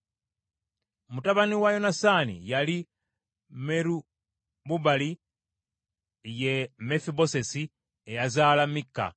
Mutabani wa Yonasaani yali Meribubaali, ye Mefibosesi, eyazaala Mikka.